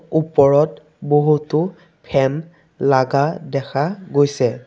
ওপৰত বহুতো ফেন লাগা দেখা গৈছে।